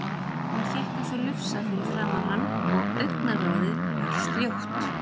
Hún hékk eins og lufsa fyrir framan hann og augnaráðið var sljótt.